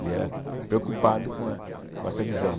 Ele era preocupado com eh com essa visão.